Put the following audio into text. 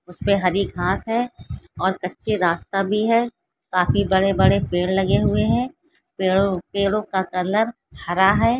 उस पे हरी घास है और कच्चे रास्ता भी है काफी बड़े-बड़े पेड़ लगे हुए हैं पेड़ो-पेड़ो का कलर हरा है।